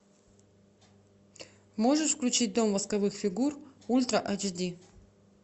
можешь включить дом восковых фигур ультра ач ди